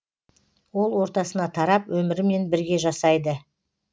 ол ортасына тарап өмірімен бірге жасайды